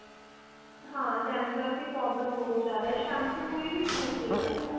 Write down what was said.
ਹਾਂ dandruff ਦੀ problem ਬਹੁਤ ਜਿਆਦਾ shampoo ਕੋਈ ਵੀ ਸੂਟ ਨਹੀਂ ਕਰਦਾ